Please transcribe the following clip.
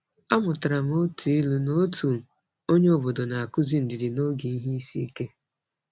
A mụtara m otu ilu n’otu onyeobodo na-akụzi ndidi n’oge ihe isiike.